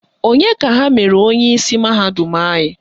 Onye ka ha mere onyeisi mahadum anyị?